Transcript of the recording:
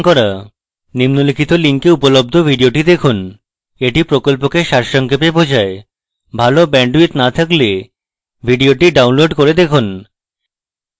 নিম্নলিখিত link উপলব্ধ video দেখুন এটি প্রকল্পকে সারসংক্ষেপে দেখায় ভালো bandwidth না থাকলে video download করে দেখুন